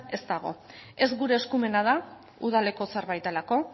ez dago ez gure eskumena da udaleko zerbait delako